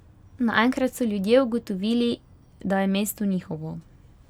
Naenkrat so ljudje ugotovili, da je mesto njihovo.